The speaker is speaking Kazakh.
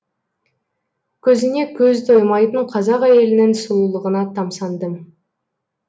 көзіне көз тоймайтын қазақ әйелінің сұлулығына тамсандым